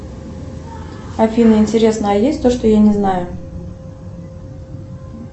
афина интересно а есть то что я не знаю